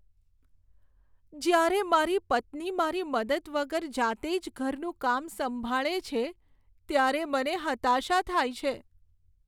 જ્યારે મારી પત્ની મારી મદદ વગર જાતે જ ઘરનું કામ સંભાળે છે ત્યારે મને હતાશા થાય છે.